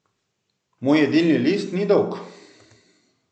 Moj jedilni list ni dolg.